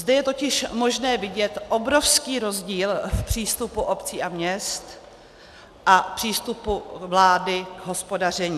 Zde je totiž možné vidět obrovský rozdíl v přístupu obcí a měst a přístupu vlády k hospodaření.